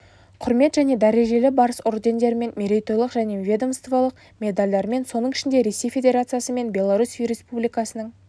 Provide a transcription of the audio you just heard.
құрмет және дәрежелі барыс ордендерімен мерейтойлық және ведомстволық медальдармен соның ішінде ресей федерациясы мен беларусь республикасының